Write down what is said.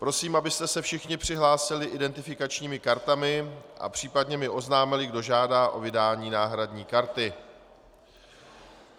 Prosím, abyste se všichni přihlásili identifikačními kartami a případně mi oznámili, kdo žádá o vydání náhradní karty.